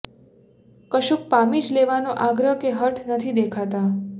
કશુંક પામી જ લેવાનો આગ્રહ કે હઠ નથી દેખાતા